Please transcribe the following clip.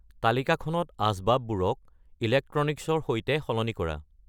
তালিকাখনত আচবাববোৰক ইলেকট্ৰনিক্সৰ সৈতে সলনি কৰা